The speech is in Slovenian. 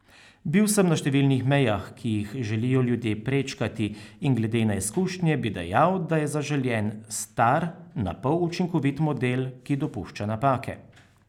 Bil sem na številnih mejah, ki jih želijo ljudje prečkati, in glede na izkušnje bi dejal, da je zaželjen star, na pol učinkovit model, ki dopušča napake.